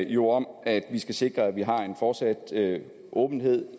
jo om at vi skal sikre at vi har en fortsat åbenhed